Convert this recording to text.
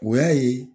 O y'a ye